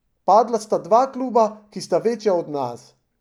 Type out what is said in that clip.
Padla sta dva kluba, ki sta večja od nas.